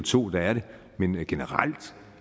to der er det men generelt